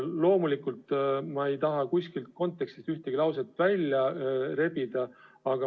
Loomulikult, ma ei taha kuskilt kontekstist ühtegi lauset välja rebida.